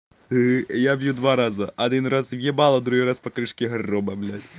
я бью два раза один раз в ебало другой раз по крышке гроба